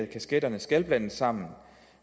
kasketterne skal blandes sammen